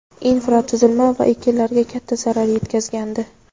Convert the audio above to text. infratuzilma va ekinlarga katta zarar yetkazgandi.